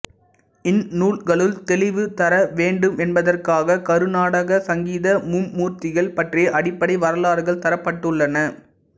இந்நூல்களுள் தெளிவு தர வேண்டுமென்பதற்காகக் கருநாடக சங்கீத மும்மூர்த்திகள் பற்றிய அடிப்படை வரலாறுகள் தரப்பட்டுள்ளன